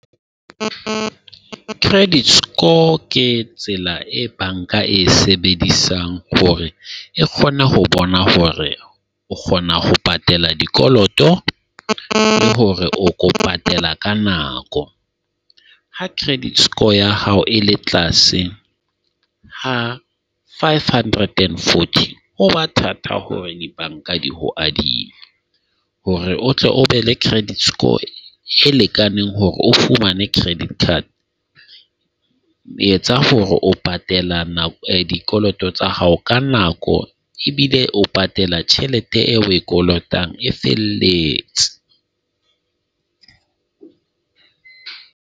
Credit score ke tsela e banka e sebedisang hore e kgone ho bona hore o kgona ho patela dikoloto le hore o ko patela ka nako. Ha credit score ya hao e le tlase, ha five hundred and forty, ho ba thata hore dibanka di ho adima. Hore o tle o be le credit score e lekaneng hore o fumane credit card. Etsa hore o patela dikoloto tsa hao ka nako ebile o patela thelete eo o e kolotang e felletse.